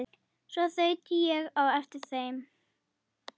Svo þaut ég á eftir